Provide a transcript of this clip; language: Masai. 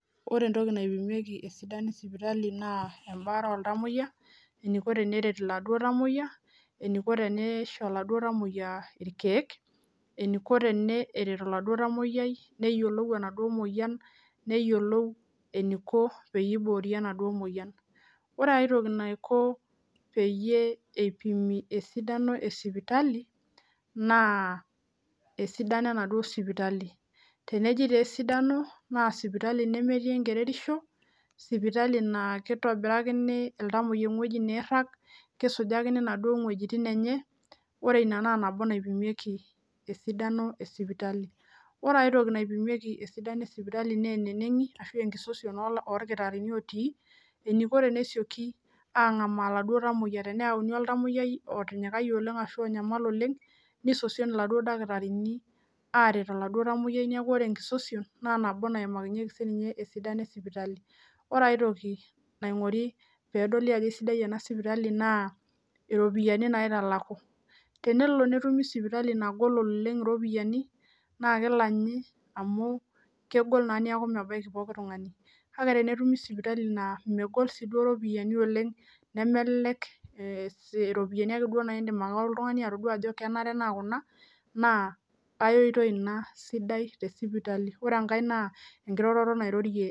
Ore entoki naipimieki esidano esipitali naa em'baare oltamuoyia eniko teneret iladuo tamuoyia eniko tenisho iladuo tamuoyia ilkeek eniko teneret oladuo tamuoyiay neyiolou enaduo muoyian neyiolou enaduo muoyian neyiolou eniko teniboori enaduo muoyian Ore itoki naiko peyie eipimi esidano esipitali naa esidano enaduo sipitali, teneji taa esidano naa sipitali nemetii enkerereisho sipitali naa kitobirakini iltamuoyia ewueji niirhag keisujakini inaduo wuejitin enye ore ina naa nabo naipimieki esidano esipitali Ore aitoki naipimieki esidano esipitali naa naa eneneng'i ashu aa engisosion oolkhitarhini otii eniko tenesioki ang'amaa iladuo tamuoyia teneyauoni oltamuoyiai otinyikayie oleng ashu onyamal oleng nisosion iladuo dakitarini aaret iladuo tung'anak niakubore enkisosion naa nabo naimakinyeki siininye esidano esipitali Ore aitoki nain'guri peedoli ajo sidai ena sipitali naa iropiani naitalaku Tenelo netumi sipitali nagol oleng' iropiani naa kilanyi amu kegol naa niaku mebaki pooki tungani kake tenetumi sipitali naa megol siiduo iropiani oleng' nemelelek iropiani ake duo naa idim oltungani atodua ajo kenare naa kuna naa ai oitoi ina sidai tesipitali Ore enkae naa enkiroroto nairorie